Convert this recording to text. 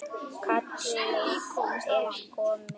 Kallið er komið.